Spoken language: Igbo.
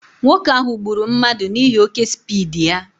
Nwoke ahụ gburu mmadụ n'ihi oké spiidi ya